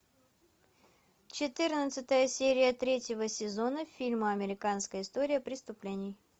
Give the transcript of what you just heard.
четырнадцатая серия третьего сезона фильма американская история преступлений